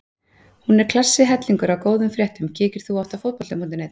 Hún er klassi hellingur af góðum fréttum Kíkir þú oft á Fótbolti.net?